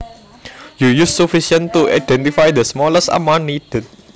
You use sufficient to identify the smallest amount needed